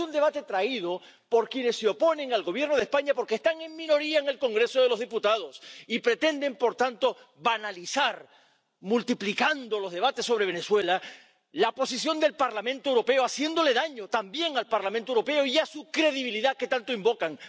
Es un debate traído por quienes se oponen al Gobierno de España, porque están en minoría en el Congreso de los Diputados y pretenden, por tanto, banalizar, multiplicando los debates sobre Venezuela, la posición del Parlamento Europeo, haciéndole daño también al Parlamento Europeo y a su credibilidad, que tanto invocan.